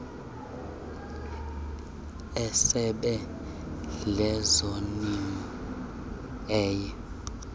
esebe lezolimo eye